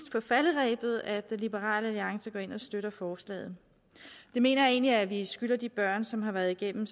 falderebet at liberal alliance går ind og støtter forslaget jeg mener egentlig at vi skylder de børn som har været igennem